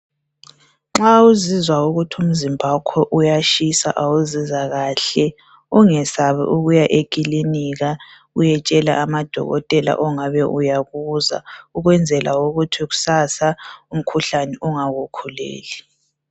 Nxa uzizwa ukuthi umzimba wakho uyatshisa awuzizwa kahle, ungesabi ukuya eklinika uyetshela amadokotela ongabe uya kuzwa ukwenzela ukuthi kusasa umkhuhlane ungakukhuleli.